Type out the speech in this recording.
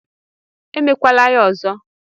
I mekwala ya ọzọ!